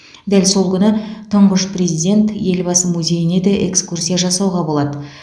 дәл сол күні тұңғыш президент елбасы музейіне де экскурсия жасауға болады